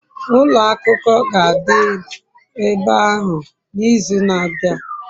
ulo akuko ga-adi ebe ahu n'izu na-abia